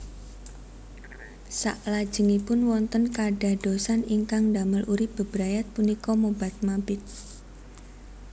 Saklajengipun wonten kadadosan ingkang ndamel urip bebrayat punika mobat mabit